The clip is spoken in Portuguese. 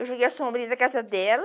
Eu joguei a sombrinha na casa dela,